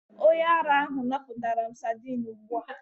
Onye ara ahụ napụtara m sadin ugbu a.